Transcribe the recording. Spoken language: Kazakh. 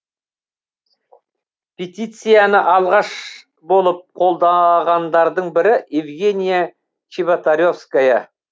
петицияны алғаш болып қолдағандардың бірі евгения чеботаревская